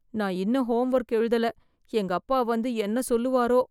நான் இன்னும் homework எழுதல எங்க அப்பா வந்து என்ன சொல்லுவாரோ